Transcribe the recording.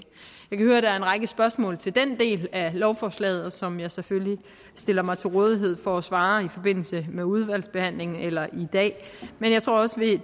høre at der er en række spørgsmål til den del af lovforslaget som jeg selvfølgelig stiller mig til rådighed for at svare på i forbindelse med udvalgsbehandlingen eller i dag men jeg tror også